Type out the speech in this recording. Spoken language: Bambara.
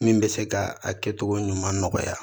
Min bɛ se ka a kɛcogo ɲuman nɔgɔya